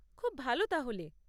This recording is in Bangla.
খুব ভালো তাহলে।